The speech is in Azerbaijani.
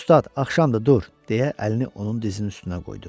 Ustad, axşamdır, dur, deyə əlini onun dizinin üstünə qoydu.